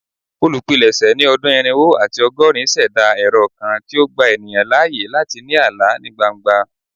Olupilẹṣẹ ni ọdun irinwo ati ọgọrin ṣẹda ẹrọ kan ti o gba eniyan laaye lati ni ala ni gbangba